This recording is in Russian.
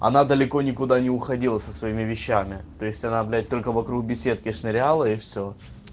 она далеко никуда не уходила со своими вещами то есть она блять только вокруг беседки шныряла и все